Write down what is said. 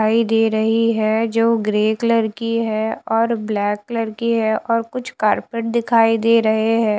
खाई दे रही है जो ग्रे कलर की है और ब्लैक कलर की है और कुछ कारपेट दिखाई दे रहे हैं।